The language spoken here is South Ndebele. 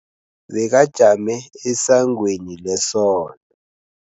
Bekajame esangweni lesonto.